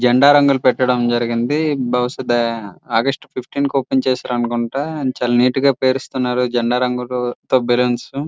జెండా రంగులు పెట్టడం జరిగింది బుహుస ఆగష్టు ఫిఫ్టీన్ కు ఓపెన్ చేస్తారు అనుకుంట చాల నీట్ గా పేరుస్తున్నారు జెండా రంగులు తో బళ్ళూన్సు .